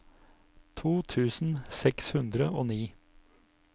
to tusen seks hundre og ni